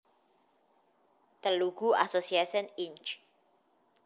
Telugu Association Inc